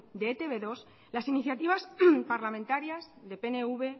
de e te be dos las iniciativas parlamentarias de pnv